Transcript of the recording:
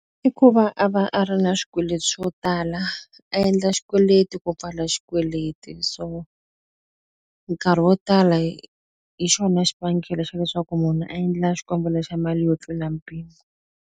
I ku va a va a ri na swikweleti swo tala, a endla xikweleti ku pfala xikweleti. So nkarhi wo tala hi hi xona xivangelo xa leswaku munhu a endla xikombelo xa mali yo tlula mpimo.